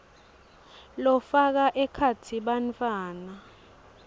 lafaka ekhatsi bantfwana